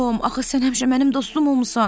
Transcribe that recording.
Tom, axı sən həmişə mənim dostum olmusan.